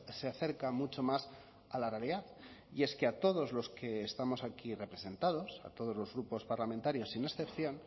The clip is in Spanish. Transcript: se acerca mucho más a la realidad y es que a todos los que estamos aquí representados a todos los grupos parlamentarios sin excepción